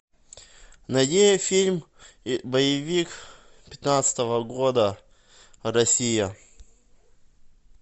найди фильм боевик пятнадцатого года россия